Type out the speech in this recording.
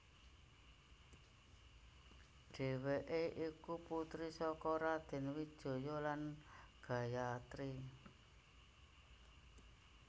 Dhèwèké iku putri saka Raden Wijaya lan Gayatri